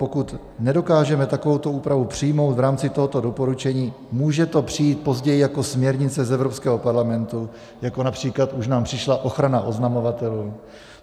Pokud nedokážeme takovouto úpravu přijmout v rámci tohoto doporučení, může to přijít později jako směrnice z Evropského parlamentu, jako například už nám přišla ochrana oznamovatelů.